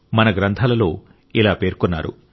మన గ్రంథాలలో ఇలా పేర్కొన్నారు